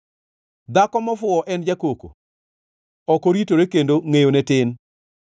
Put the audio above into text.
Dhako mofuwo en jakoko, ok oritore kendo ngʼeyone tin.